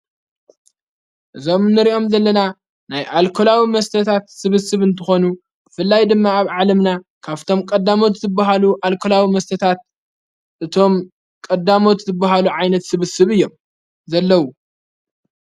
እዞም ንርኦም ዘለና ናይ ኣልኮላዊ መስተታት ስብስብ እንተኾኑ ፍላይ ድመኣብ ዓለምና ካብቶም ቀዳሞት እትብሃሉ ኣልኮላዊ መስተታት እቶም ቀዳሞት ትብሃሉ ዓይነት ስብስብ እዮም ዘለዉ።